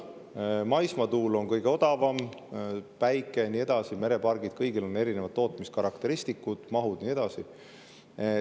Maismaatuule on kõige odavam, päikese, merepargid ja nii edasi – kõigil on erinevad tootmiskarakteristikud, mahud ja nii edasi.